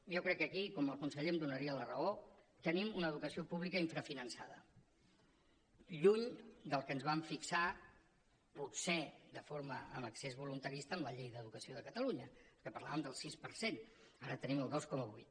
jo crec que aquí com que el conseller em donaria la raó tenim una educació pública infrafinançada lluny del que ens vam fixar potser de forma en excés voluntarista en la llei d’educació de catalunya que parlàvem del sis per cent ara tenim el dos coma vuit